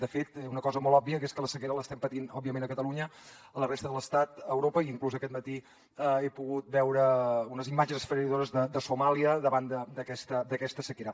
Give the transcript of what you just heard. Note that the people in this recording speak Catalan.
de fet una cosa molt òbvia que és que la sequera l’estem patint òbviament a catalunya a la resta de l’estat a europa i inclús aquest matí he pogut veure unes imatges esfereïdores de somàlia davant d’aquesta sequera